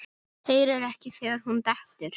Heyri ekki þegar hún dettur.